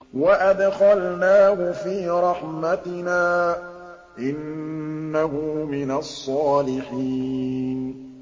وَأَدْخَلْنَاهُ فِي رَحْمَتِنَا ۖ إِنَّهُ مِنَ الصَّالِحِينَ